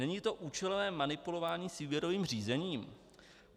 Není to účelové manipulování s výběrovým řízením?